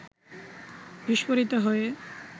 বিস্ফোরিত হয়ে